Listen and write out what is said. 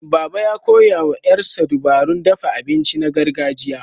Baba, ya koya wa ƴarsa dabarun dafa abinci na gargajiya.